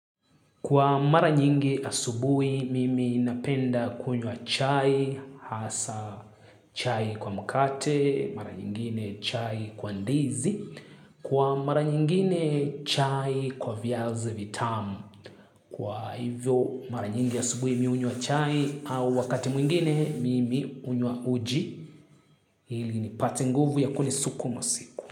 Kwa mara nyingi asubuhi mimi napenda kunywa chai, hasa chai kwa mkate, mara nyingine chai kwa ndizi, kwa mara nyingine chai kwa viazi vitamu. Kwa hivyo mara nyingi asubuhi mimi hunywa chai au wakati mwingine mimi hunywa uji, hili nipate nguvu ya kuni suku masiku.